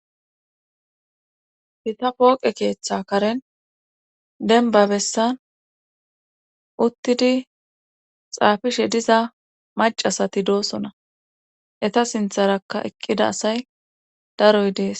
hita pooqe keeththa karen denba bessan uttidi xaafishe diza macasati doosona eta sintharaka eqqida asay daroy dees